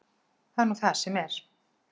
Það er nú það sem er.